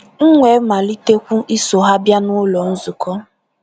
M wee malitekwu iso ha bịa n’ụlọ nzukọ.